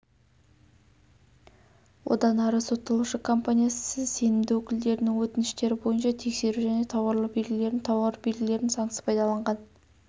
одан ары сотталушы компаниясы сенімді өкілдерінің өтініштері бойынша тексеру және тауарлы белгілерін тауар белгілерін заңсыз пайдаланған